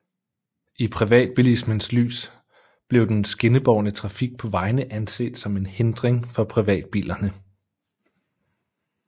I privatbilismens lys blev den skinnebårne trafik på vejene anset som en hindring for privatbilerne